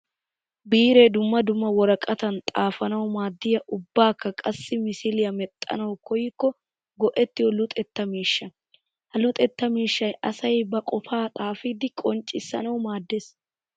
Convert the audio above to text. Biire dumma dumma woraqatan xaafanawu maadiya ubbakka qassi misiliya medhdhanawu koykokka go'ettiyo luxetta miishsha. Ha luxetta miishshay asay ba qofaa xaafiddi qonccissanawu maades.